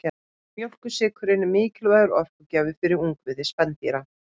Mjólkursykurinn er mikilvægur orkugjafi fyrir ungviði spendýra.